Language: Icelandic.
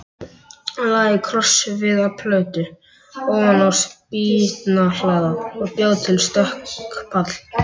Hann lagði krossviðarplötu ofan á spýtnahlaða og bjó til stökkpall.